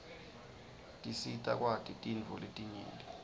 tisita kwati tintfo letinyenti